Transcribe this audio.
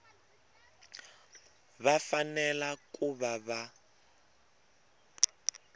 va fanele ku va va